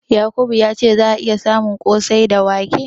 Yakubu ya ce za'a iya samun ƙosai daga wake.